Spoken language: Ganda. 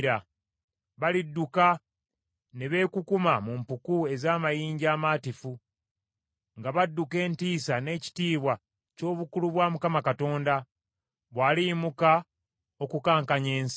Balidduka ne beekukuma mu mpuku ez’amayinja amaatifu nga badduka entiisa n’ekitiibwa ky’obukulu bwa Mukama Katonda, bwaliyimuka okukankanya ensi.